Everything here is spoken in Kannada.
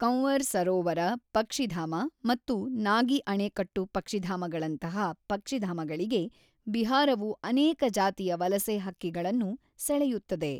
ಕಂವರ್ ಸರೋವರ ಪಕ್ಷಿಧಾಮ ಮತ್ತು ನಾಗಿ ಅಣೆಕಟ್ಟು ಪಕ್ಷಿಧಾಮಗಳಂತಹ ಪಕ್ಷಿಧಾಮಗಳಿಗೆ ಬಿಹಾರವು ಅನೇಕ ಜಾತಿಯ ವಲಸೆ ಹಕ್ಕಿಗಳನ್ನು ಸೆಳೆಯುತ್ತದೆ.